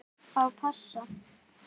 Á bassa.